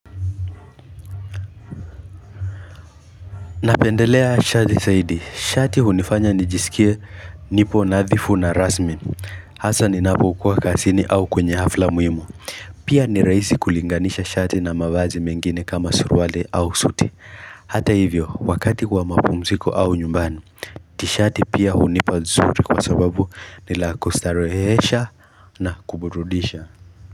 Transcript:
Napendelea shati zaidi, shati hunifanya nijisikie nipo nadhifu na rasmi Hasa ninapokuwa kazini au kwenye hafla muhimu Pia ni rahisi kulinganisha shati na mavazi mengine kama suruali au suti Hata hivyo, wakati kwa mapumziko au nyumbani Tishati pia hunipa nzuri kwa sababu ni la kustarehesha na kuburudisha.